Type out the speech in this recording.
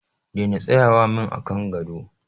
Daina tsayawa min a kan gado.